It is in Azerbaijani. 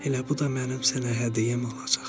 Elə bu da mənim sənə hədiyyəm olacaq.